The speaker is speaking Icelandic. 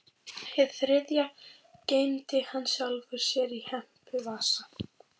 Hið þriðja geymdi hann sjálfum sér í hempuvasa.